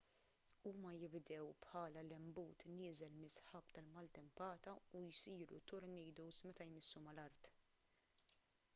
huma jibdew bħala lenbut nieżel mis-sħab tal-maltempata u jsiru tornadoes meta jmissu mal-art